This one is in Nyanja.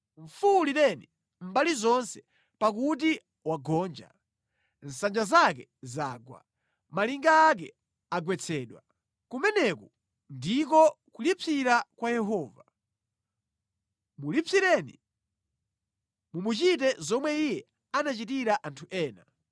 Mufuwulireni mbali zonse pakuti wagonja. Nsanja zake zagwa. Malinga ake agwetsedwa. Kumeneku ndiko kulipsira kwa Yehova. Mulipsireni, mumuchite zomwe iye anachitira anthu ena.